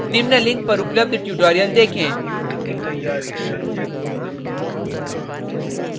निम्न link पर उपलब्ध tutorial को देखें यह spoken tutorial project को सारांशित करता है